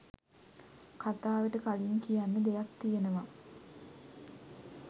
කතාවට කලින් කියන්න දෙයක් තියෙනවා.